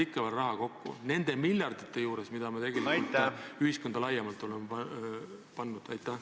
Kas me hoiame nende miljardite juures, mis tegelikult ühiskonda laiemalt on pandud, selle pealt kokku?